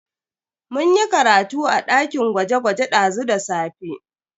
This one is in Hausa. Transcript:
Mun yi karatu a dakin gwaje-gwaje dazu da safe.